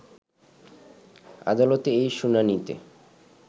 আদালতে এই শুনানিতে